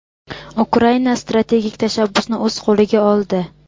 Ukraina strategik tashabbusni o‘z qo‘liga oldi.